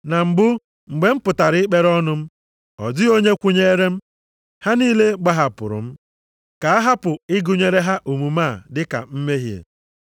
Na mbụ, mgbe m pụtara ikpere ọnụ m, ọ dịghị onye kwụnyeere m. Ha niile gbahapụrụ m. Ka a hapụ ịgụnyere ha omume a dị ka mmehie.